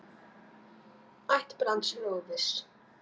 Ætt Brands er óviss.